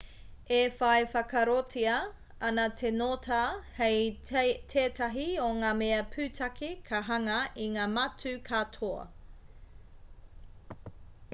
e whai whakaarotia ana te ngota hei tētahi o ngā mea pūtake ka hanga i ngā matū katoa